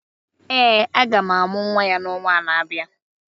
Ee, a ga-amụ nwa ya n’ọnwa na-abịa.